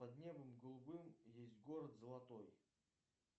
под небом голубым есть город золотой